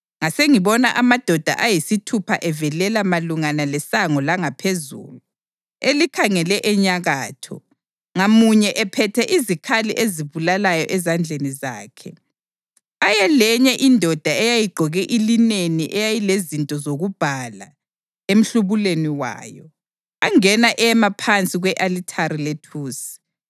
Ngasengibona amadoda ayisithupha evelela malungana lesango langaphezulu, elikhangele enyakatho, ngamunye ephethe izikhali ezibulalayo ezandleni zakhe. Ayelenye indoda eyayigqoke ilineni eyayilezinto zokubhala emhlubulweni wayo. Angena ema phansi kwe-alithari lethusi.